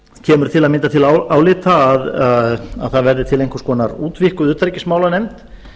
kemur til að mynda til álita að það verði til einhvers konar útvíkkuð utanríkismálanefnd